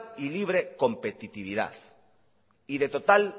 y libre competitividad y de total